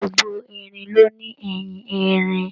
Gbogbo erin ló ní eyin-erin.